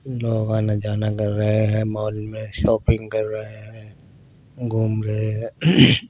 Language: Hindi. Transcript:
लोग आना जाना कर रहे हैं मॉल में शॉपिंग कर रहे हैं घूम रहे हैं।